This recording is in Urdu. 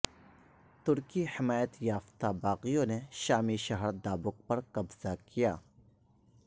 ترکی حمایت یافتہ باغیوں نے شامی شہر دابق پر قبضہ کیا